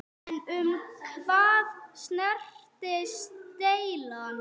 En um hvað snerist deilan?